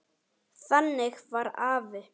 Þannig var afi.